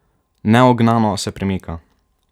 Neugnano se premika.